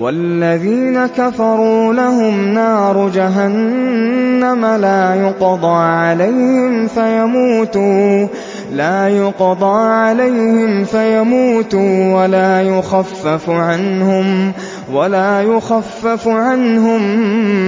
وَالَّذِينَ كَفَرُوا لَهُمْ نَارُ جَهَنَّمَ لَا يُقْضَىٰ عَلَيْهِمْ فَيَمُوتُوا وَلَا يُخَفَّفُ عَنْهُم